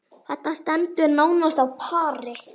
Þetta stendur nánast á pari.